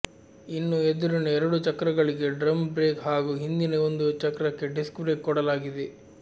ಇನ್ನೂ ಎದುರಿನ ಎರಡೂ ಚಕ್ರಗಳಿಗೆ ಡ್ರಮ್ ಬ್ರೇಕ್ ಹಾಗೂ ಹಿಂದಿನ ಒಂದು ಚಕ್ರಕ್ಕೆ ಡಿಸ್ಕ್ ಬ್ರೇಕ್ ಕೊಡಲಾಗಿದೆ